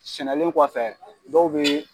Sɛnɛnlen kɔfɛ dɔw bɛ